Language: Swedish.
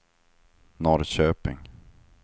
Norrköping